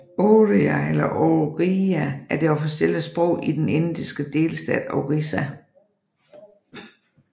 Oriya eller orija er det officielle sprog i den indiske delstat Orissa